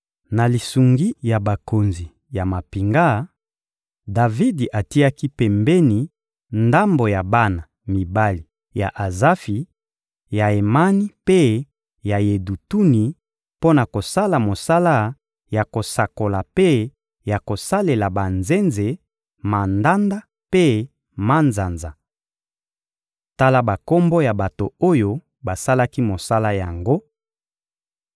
Na lisungi ya bakonzi ya mampinga, Davidi atiaki pembeni ndambo ya bana mibali ya Azafi, ya Emani mpe ya Yedutuni mpo na kosala mosala ya kosakola mpe ya kosalela banzenze, mandanda mpe manzanza. Tala bakombo ya bato oyo basalaki mosala yango: